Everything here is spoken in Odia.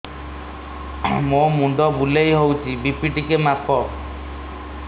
ମୋ ମୁଣ୍ଡ ବୁଲେଇ ହଉଚି ବି.ପି ଟିକେ ମାପ